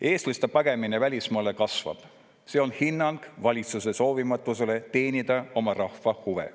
Eestlaste pagemine välismaale kasvab, see on hinnang valitsuse soovimatusele teenida oma rahva huve.